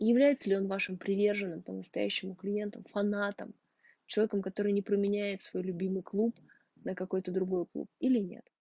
является ли он вашим приверженным по-настоящему клиентом фанатам человеком который не променяет свой любимый клуб на какой-то другой клуб или нет